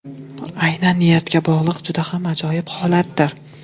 Aynan niyatga bog‘liq juda ham ajoyib holatdir.